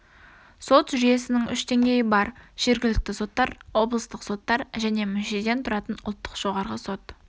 сот жүйесінің үш деңгейі бар жергілікті соттар облыстық соттар және мүшеден тұратын ұлттық жоғарғы сот